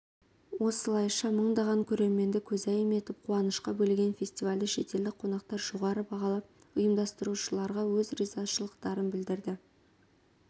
осылайша мыңдаған көрерменді көзайым етіп қуанышқа бөлеген фестивальді шетелдік қонақтар жоғары бағалап ұйымдастырушыларға өз ризашылықтарын білдірді